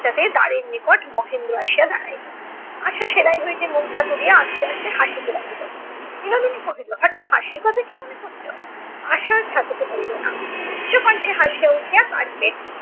পশ্চাৎ এ দ্বারের নিকট মহেন্দ্র আসিয়া দাঁড়াইল । আশা সেলাই হইতে মুখটা তুলিয়া আস্তে আস্তে হাসিতে লাগিল। বিনোদিনী কহিল হঠাৎ হাসির কথা কী মনে পড়িল? আশা আর থাকিতে পারিল না। উচ্চ কণ্ঠে হাসিয়া উঠিয়া carpet